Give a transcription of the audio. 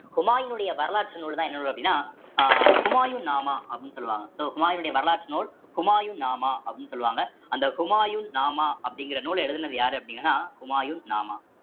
ஹுமாயினுடைய வரலாற்று நூல்தான் என்ன நூல் அப்படின்னா அஹ் ஹுமாயூன் நாமா அப்படின்னு சொல்லுவாங்க so ஹுமாயினுடைய வரலாற்று நூல் ஹுமாயுன் நாமா அப்படின்னு சொல்லுவாங்க அந்த ஹுமாயூன் நாமா அப்படிங்கிற நூலை எழுதினது யாரு அப்படின்னா ஹுமாயூன் நாமா